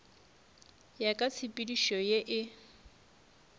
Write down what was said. ya ka tshepedišo ye e